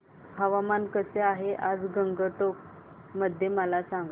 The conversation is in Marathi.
हवामान कसे आहे आज गंगटोक मध्ये मला सांगा